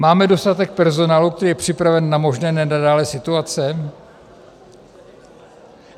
Máme dostatek personálu, který je připraven na možné nenadálé situace?